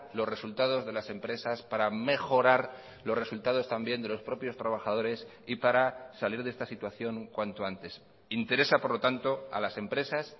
los resultados de las empresas para mejorar los resultados también de los propios trabajadores y para salir de esta situación cuanto antes interesa por lo tanto a las empresas